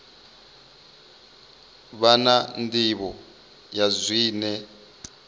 vha na nḓivho ya zwine